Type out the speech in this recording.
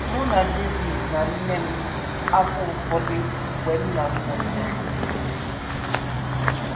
Mụ na David na nne m afọ ụfọdụ mgbe nna m nwụsịrị